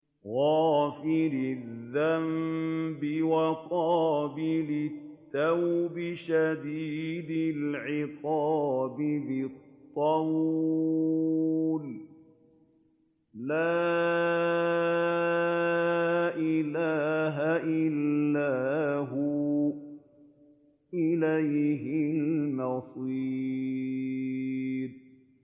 غَافِرِ الذَّنبِ وَقَابِلِ التَّوْبِ شَدِيدِ الْعِقَابِ ذِي الطَّوْلِ ۖ لَا إِلَٰهَ إِلَّا هُوَ ۖ إِلَيْهِ الْمَصِيرُ